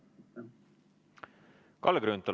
Kalle Grünthal, palun!